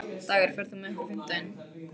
Dagur, ferð þú með okkur á fimmtudaginn?